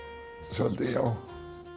svolítið já